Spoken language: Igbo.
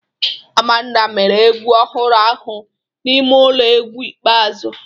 Amanda mere egwu ọhụrụ ahụ n'ime ụlọ egwu ikpeazụ